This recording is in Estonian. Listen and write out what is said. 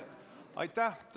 Aitäh!